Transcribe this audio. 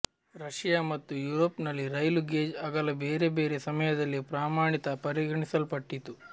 Russia ಮತ್ತು ಯುರೋಪ್ನಲ್ಲಿ ರೈಲು ಗೇಜ್ ಅಗಲ ಬೇರೆ ಬೇರೆ ಸಮಯದಲ್ಲಿ ಪ್ರಮಾಣಿತ ಪರಿಗಣಿಸಲ್ಪಟ್ಟಿತ್ತು